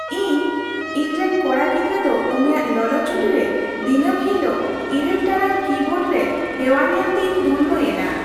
ᱤᱧ ᱤᱧᱨᱮᱱ ᱠᱚᱲᱟ ᱜᱤᱫᱲᱨᱟᱹ ᱫᱚ ᱩᱱᱤᱭᱟᱜ ᱞᱚᱞᱚ ᱪᱷᱩᱴᱤᱨᱮ ᱫᱤᱱᱟᱹᱢ ᱦᱤᱞᱟᱹᱜ ᱘ ᱴᱟᱲᱟᱝ ᱠᱤᱵᱳᱨᱰ ᱨᱮ ᱦᱮᱣᱟ ᱧᱮᱞᱛᱮᱧ ᱫᱷᱚᱱᱱᱚ ᱭᱮᱱᱟ ᱾